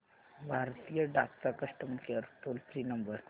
भारतीय डाक चा customer care toll free number